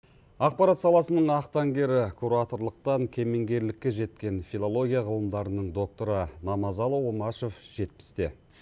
ақпарат саласының ақ таңгері кураторлықтан кеменгерлікке жеткен филология ғылымдарының докторы намазалы омашов жетпісте